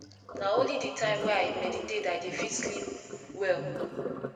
na only di time wey i meditate i dey fit sleep well